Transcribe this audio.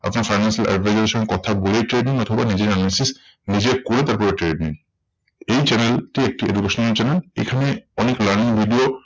আপনি financial advisor এর সঙ্গে কথা বলেই trade নিন অথবা নিজের analysis নিজে করে তারপরে trade নিন। এই channel টি একটি educational channel. এখানে অনেক learning video